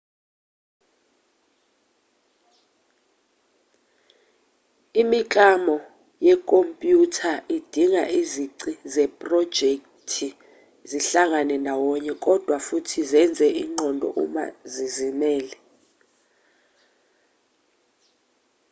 imiklamo yekhompyutha idinga izici zephrojekthi zihlangane ndawonye kodwa futhi zenze ingqondo uma zizimele